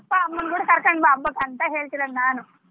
ಅಪ್ಪ, ಅಮ್ಮನ್ ಕೂಡಾ ಕರ್ಕೊಂಡ್ ಬಾ ಹಬ್ಬಕ್ ಅಂತ ಹೇಳ್ತಿರೊದ್ ನಾನು.